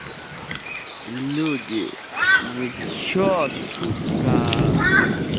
люди вы что сука